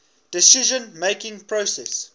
decision making process